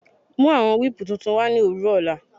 Mú awọn wípùú tuntun wa ní owurọ ọ̀la